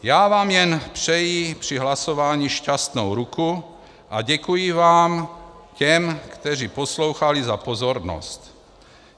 Já vám jen přeji při hlasování šťastnou ruku a děkuji vám - těm, kteří poslouchali - za pozornost.